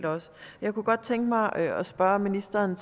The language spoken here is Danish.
jeg kunne godt tænke mig at at spørge ministeren